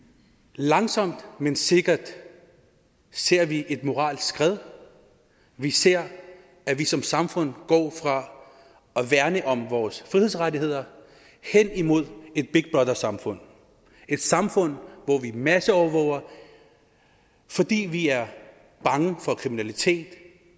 langsomt men sikkert ser vi et moralsk skred vi ser at vi som samfund går fra at værne om vores frihedsrettigheder hen imod et big brother samfund et samfund hvor vi masseovervåger fordi vi er bange for kriminalitet